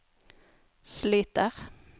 sliter